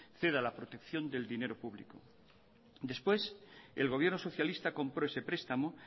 ceda la protección del dinero público después el gobierno socialista compró ese prestamo